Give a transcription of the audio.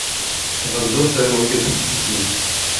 обзор старой нокиа тридцать три десять